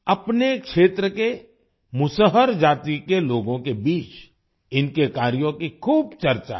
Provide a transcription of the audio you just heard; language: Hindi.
अपने क्षेत्र के मुसहर जाति के लोगों के बीच इनके कार्यों की खूब चर्चा है